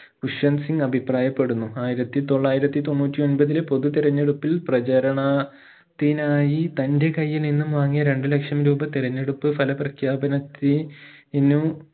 വിശ്വൻ സിംഗ് അഭിപ്രായപ്പെടുന്നു ആയിരത്തി തൊള്ളായിരത്തി തൊണ്ണൂറ്റി ഒമ്പതിലെ പൊതു തിരെഞ്ഞെടുപ്പിൽ പ്രചരണ ത്തിനായി തന്റെ കയ്യിൽ നിന്നും വാങ്ങിയ രണ്ടു ലക്ഷം രൂപ തിരെഞ്ഞെടുപ്പ് ഫല പ്രഖ്യാപനത്തി നു